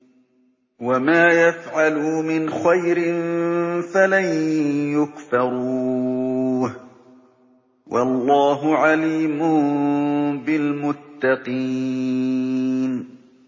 وَمَا يَفْعَلُوا مِنْ خَيْرٍ فَلَن يُكْفَرُوهُ ۗ وَاللَّهُ عَلِيمٌ بِالْمُتَّقِينَ